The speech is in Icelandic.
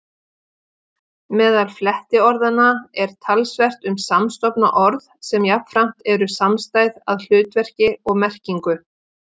Meðal flettiorðanna er talsvert um samstofna orð sem jafnframt eru samstæð að hlutverki og merkingu.